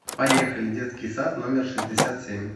поехали детский сад номер шестьдесят семь